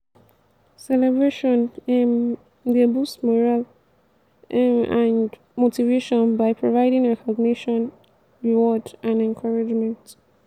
celebration um dey boost morale um and motivation by providing recognition reward and encouragement.